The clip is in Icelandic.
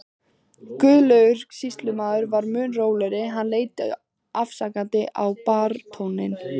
Guðlaugur sýslumaður var mun rólegri, hann leit afsakandi á baróninn.